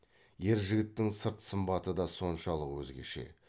ер жігіттің сырт сымбаты да соншалық өзгеше